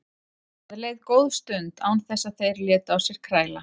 Það leið góð stund án þess að þeir létu á sér kræla.